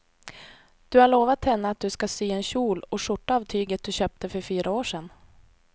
Du har lovat henne att du ska sy en kjol och skjorta av tyget du köpte för fyra år sedan.